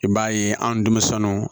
I b'a ye anw denmisɛnnunw